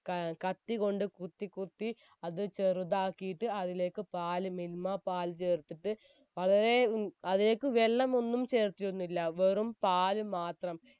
ക ഏർ കത്തി കൊണ്ട് കുത്തി കുത്തി അത് ചെറുതാക്കിയിട്ട് അതിലേക്ക് പാല് മിൽമ പാല് ചേർത്തിട്ട് വളരേ ഏർ അതിലേക്ക് വെള്ളം ഒന്നും ചേർത്തിരുന്നില്ല വെറും പാല് മാത്രം